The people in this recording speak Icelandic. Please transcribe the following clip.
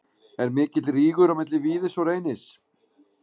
Er mikill rígur á milli Víðis og Reynis?